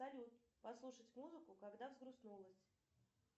салют послушать музыку когда взгрустнулось